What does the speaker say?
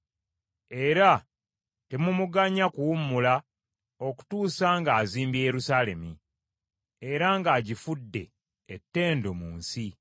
Era temumuganya kuwummula okutuusa nga azimbye Yerusaalemi era ng’agifudde ettendo mu nsi.